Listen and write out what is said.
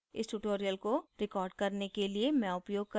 इस tutorial को record करने के लिए मैं उपयोग कर रही हूँ